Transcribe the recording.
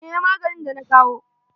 Haɗiye maganin da na kawo.